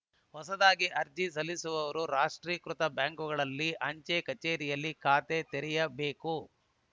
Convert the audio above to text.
ಹೊಸದಾಗಿ ಅರ್ಜಿ ಸಲ್ಲಿಸುವವರು ರಾಷ್ಟ್ರೀಕೃತ ಬ್ಯಾಂಕುಗಳಲ್ಲಿ ಅಂಚೆ ಕಚೇರಿಯಲ್ಲಿ ಖಾತೆ ತೆರೆಯಬೇಕು